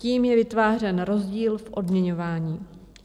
Tím je vytvářen rozdíl v odměňování.